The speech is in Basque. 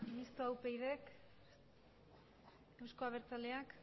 mistoa upydk euzko abertzaleak